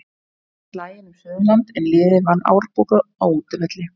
Hamar vann slaginn um Suðurland er liðið vann Árborg á útivelli.